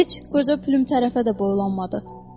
Heç qoca Pülüm tərəfə də boylanmadı.